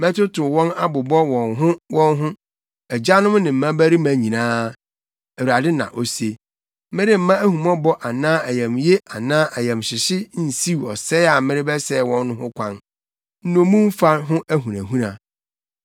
Mɛtotow wɔn abobɔ wɔn ho wɔn ho, agyanom ne mmabarima nyinaa, Awurade na ose. Meremma ahummɔbɔ anaa ayamye anaa ayamhyehye nsiw ɔsɛe a merebɛsɛe wɔn no ho kwan.’ ” Nnommumfa Ho Ahunahuna